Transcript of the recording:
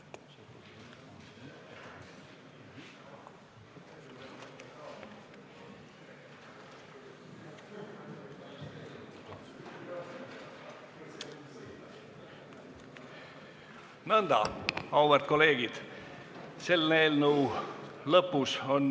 Nõnda, auväärt kolleegid!